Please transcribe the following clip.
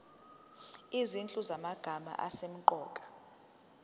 izinhlu zamagama asemqoka